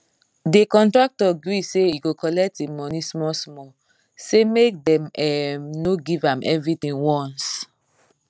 the contractor gree say he go collect him money small small say make dem um no give am everythin once